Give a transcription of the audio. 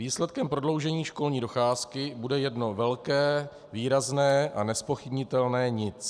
Výsledkem prodloužení školní docházky bude jedno velké, výrazné a nezpochybnitelné nic.